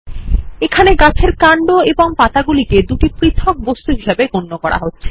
এখানে গাছের কান্ড এবং পাতাগুলিকে দুটি পৃথক বস্তু হিসাবে গণ্য করা হচ্ছে